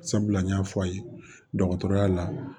Sabula n y'a fɔ a ye dɔgɔtɔrɔya la